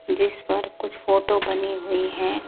जिस पर कुछ फोटो बनी हुई है।